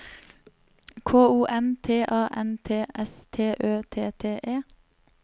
K O N T A N T S T Ø T T E